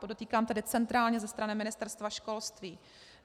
Podotýkám tedy centrálně ze strany Ministerstva školství.